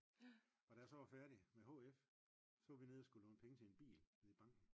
Og da jeg så var færdig med HF så var vi nede og skulle låne penge til en bil nede i banken